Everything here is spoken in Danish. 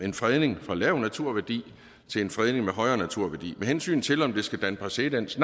en fredning med lav naturværdi til en fredning med højere naturværdi med hensyn til om det skal danne præcedens